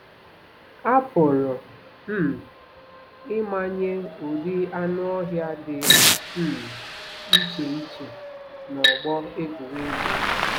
A pụrụ um ịmanye ụdị anụ ọhịa dị um iche iche n'ọgbọ egwuregwu.